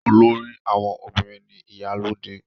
Olórí àwọn obìnrin ni Ìyálóde.